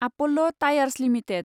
Apollo tyres limited